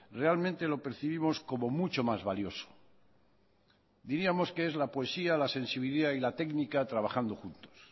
realmente lo percibimos como mucho más valioso diríamos que es la poesía la sensibilidad y la técnica trabajando juntos